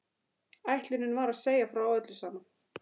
Ætlunin var að segja frá öllu saman.